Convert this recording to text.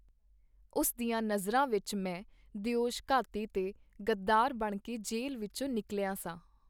ਉਸ ਦੀਆਂ ਨਜ਼ਰਾਂ ਵਿਚ ਮੈਂ ਦਿਓਸ਼-ਘਾਤੀ ਤੇ ਗੱਦਾਰ ਬਣ ਕੇ ਜੇਲ੍ਹ ਵਿਚੋਂ ਨਿਕਲਿਆ ਸਾਂ.